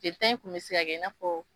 Desɛn i kun be se kɛ in'a fɔ